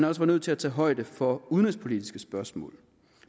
også var nødt til at tage højde for udenrigspolitiske spørgsmål